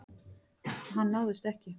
Hann náðist ekki.